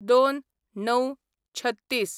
०२/०९/३६